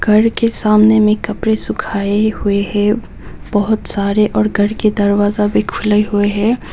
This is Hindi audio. घर के सामने में कपड़े सुखाए हुए हैं बहुत सारे और घर के दरवाजा भी खुले हुए हैं।